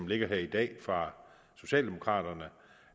ligger her i dag fra socialdemokraterne